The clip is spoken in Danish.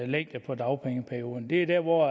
længde på dagpengeperioden det er der hvor